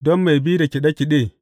Don mai bi da kaɗe kaɗe.